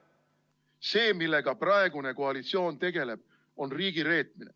See, millega praegune koalitsioon tegeleb, on riigireetmine.